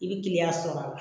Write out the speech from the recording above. I bɛ kiliyan sɔrɔ